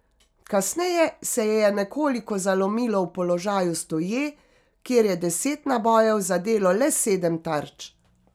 Kasneje se ji je nekoliko zalomilo v položaju stoje, kjer je deset nabojev zadelo le sedem tarč.